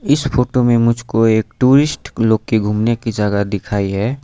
इस फोटो में मुझको एक टूरिस्ट लोग की घूमने की जगह दिखाई है।